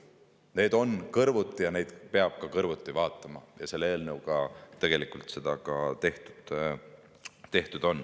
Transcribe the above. Nad on kõrvuti ja neid peab kõrvuti vaatama ning selle eelnõuga on seda ka tehtud.